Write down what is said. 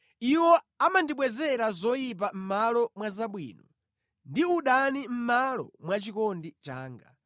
Iwo amandibwezera zoyipa mʼmalo mwa zabwino, ndi udani mʼmalo mwa chikondi changa.